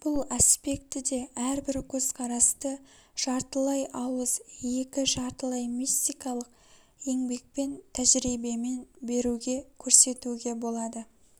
бұл аспектіде әрбір көзқарасты жартылай ауыз екі жартылай мистикалык еңбекпен тәжірибемен беруге көрсетуге болады